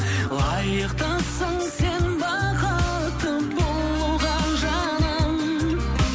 лайықтысың сен бақытты болуға жаным